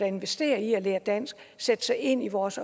investerer i at lære dansk og sætte sig ind i vores